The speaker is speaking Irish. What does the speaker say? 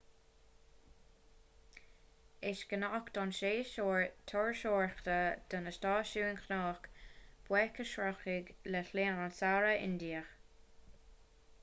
is gnách don séasúr turasóireachta do na stáisiúin chnoic buaic a shroicheadh le linn an tsamhraidh indiaigh